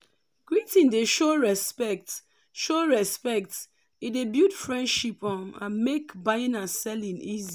greeting dey show respect show respect e dey build friendship um and make buying and selling easy.